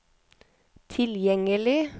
tilgjengelig